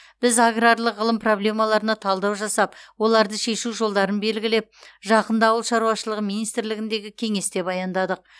біз аграрлық ғылым проблемаларына талдау жасап оларды шешу жолдарын белгілеп жақында ауыл шаруашылығы министрлігіндегі кеңесте баяндадық